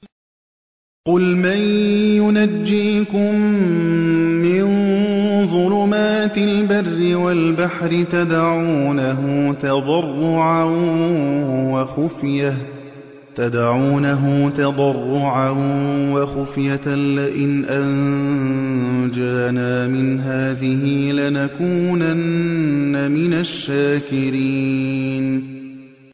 قُلْ مَن يُنَجِّيكُم مِّن ظُلُمَاتِ الْبَرِّ وَالْبَحْرِ تَدْعُونَهُ تَضَرُّعًا وَخُفْيَةً لَّئِنْ أَنجَانَا مِنْ هَٰذِهِ لَنَكُونَنَّ مِنَ الشَّاكِرِينَ